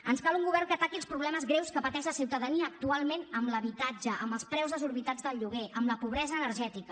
ens cal un govern que ataqui els problemes greus que pateix la ciutadania actualment en l’habitatge amb els preus desorbitats del lloguer amb la pobresa energètica